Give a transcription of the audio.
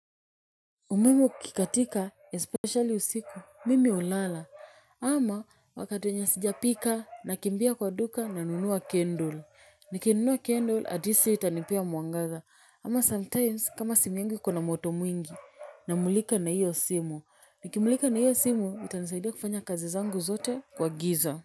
Umeme ukikatika, especially usiku, mimi hulala. Ama wakati wenye sijapika, nakimbia kwa duka nanunua candle. Nikinunua candle, atleast hio itanipea mwangaza. Ama sometimes kama simu yangu iko na moto mwingi, namulika na hiyo simu. Nikimlika na hiyo simu, itanisaidia kufanya kazi zangu zote kwa giza.